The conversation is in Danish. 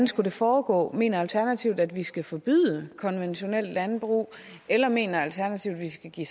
skulle foregå mener alternativet at vi skal forbyde konventionelt landbrug eller mener alternativet at vi skal give